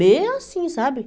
Bem assim, sabe?